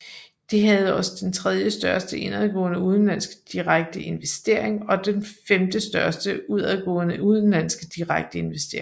Det havde også den tredjestørste indadgående udenlandske direkte investering og den femtestørste udadgående udenlandske direkte investering